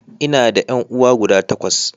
Ina da ƴan'uwa guda takwas.